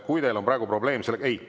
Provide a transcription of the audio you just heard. Kui teil on praegu probleem sellega …